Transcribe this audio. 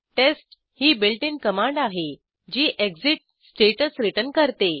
taste ही built in command आहे जी एक्सिट स्टॅटस रिटर्न करते